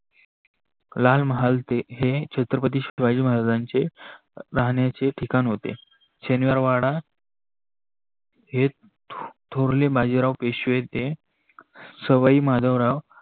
लालमहाल हे छत्रपती शिवाजी महाराजाचे राहनाचे ठिकान होते शनिवारवाडा हे थोरले बाजिराव पेशवे सवई माधवराव